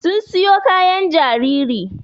Sun siyo kayan jaririn